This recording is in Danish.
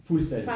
Fuldstændig